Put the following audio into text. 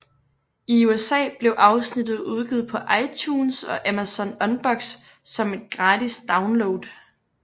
I USA blev afsnittet udgivet på iTunes og Amazon Unbox som en gratis download